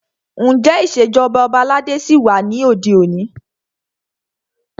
Ǹjẹ́ ìṣèjọba ọba aládé ṣí wà ní òde òní?